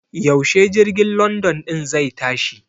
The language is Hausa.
Yaushe jirgin London ɗin zai tashi?